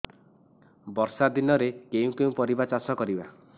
ବର୍ଷା ଦିନରେ କେଉଁ କେଉଁ ପରିବା ଚାଷ କରିବା